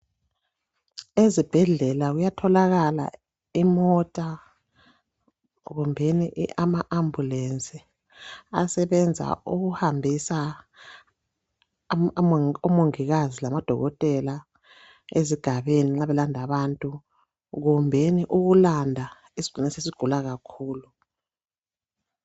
Ezibhedlela kuyatholakala imota kumbeni amaAmbulensi asebenza ukuhambisa omongikazi lamadokotela ezigabeni nxa belanda abantu kumbeni ukulanda isigulane esesigula kakhulu.